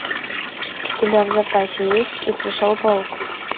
у тебя в запасе есть и пришел паук